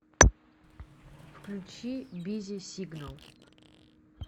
включи бизи сигнал